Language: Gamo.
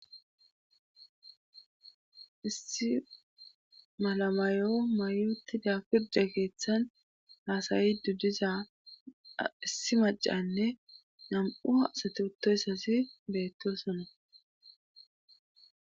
issi malamayo mayuti dafirde keeththan haasayidu diza issi macanne nam7u asatu uttoyssasi beettosono